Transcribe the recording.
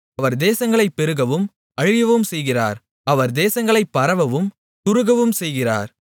அவர் தேசங்களைப் பெருகவும் அழியவும் செய்கிறார் அவர் தேசங்களைப் பரவவும் குறுகவும் செய்கிறார்